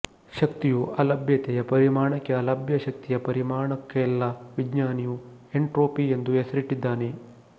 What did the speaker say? ಶಕ್ತಿಯು ಅಲಭ್ಯತೆಯ ಪರಿಮಾಣಕ್ಕೆಅಲಭ್ಯ ಶಕ್ತಿಯ ಪರಿಮಾಣಕ್ಕೆಲ್ಲವಿಜ್ಞಾನಿಯು ಎಂಟ್ರೋಪಿ ಎಂದು ಹೆಸರಿಟ್ಟಿದ್ದಾನೆ